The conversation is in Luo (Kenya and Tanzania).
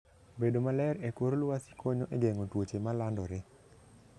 Bedo maler e kor lwasi konyo e geng'o tuoche ma landore.